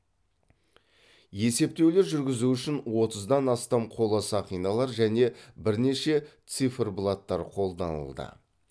есептеулер жүргізу үшін отыздан астам қола сақиналар және бірнеше циферблаттар қолданылды